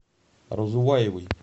разуваевой